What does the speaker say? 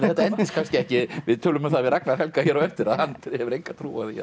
þetta endist kannski ekki við tölum um það við Ragnar Helga hér á eftir að hann hefur enga trú